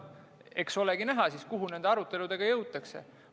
Eks olegi näha, kuhu nende aruteludega jõutakse.